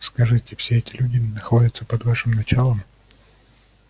скажите все эти люди находятся под вашим началом